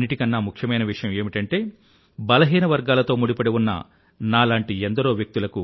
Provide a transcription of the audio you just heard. అన్నింటికన్నా ముఖ్యమైన విషయం ఏమిటంటే బలహీన వర్గాలతో ముడిపడి ఉన్న నాలాంటి ఎందరో వ్యక్తులకు